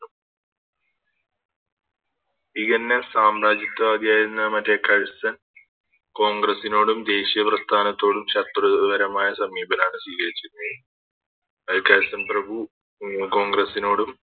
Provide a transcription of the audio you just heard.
ENS സാമ്രാജ്യത്ത വാദിയായിരുന്ന മറ്റേ കൾസ്ൺ കോൺഗ്രസിനോടും ദേശിയ പ്രസ്ഥാനത്തോടും ശത്രുപരമായ സമീപനമാണ് സ്വീകരിച്ചിരുന്നത് അത് കൾസ്ൺ പ്രഭു കോൺഗ്രസ്സിനോടും